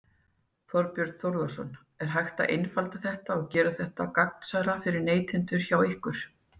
Þorbjörn Þórðarson: Er hægt að einfalda þetta og gera þetta gagnsærra fyrir neytendur hjá ykkur?